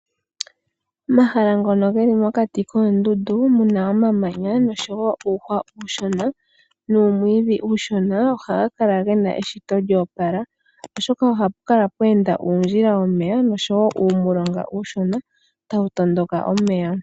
Omahala ngono geli mokati koondundu muna omamanya noshowo uuhwa uushona nuumwiidhi uushona ohaga kala gena eshito lyoopala, oshoka ohapu kala pweenda uundjila womeya noshowo uumulonga uushona tawu tondoka omeya.